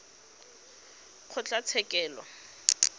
kgotlatshekelo